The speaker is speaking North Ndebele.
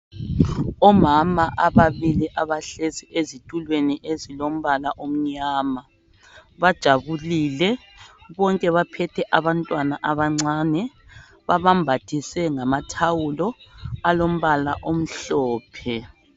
Omama ababili abahlezi ezitulweni ezilombala onyama bajabulile bonke baphethe abantwana abancane babambathise ngamathawulo alombala omhlophe